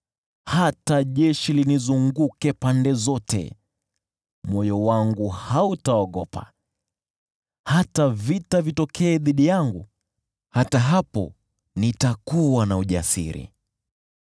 Hata jeshi linizunguke pande zote, moyo wangu hautaogopa; hata vita vitokee dhidi yangu, hata hapo nitakuwa na ujasiri.